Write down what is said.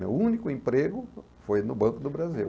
Meu único emprego foi no Banco do Brasil.